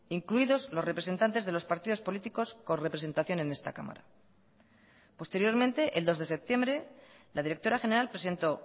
incluidos los representantes de los partidos políticos con representación en esta cámara posteriormente el dos de septiembre la directora general presentó